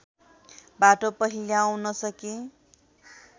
बाटो पहिल्याउन सके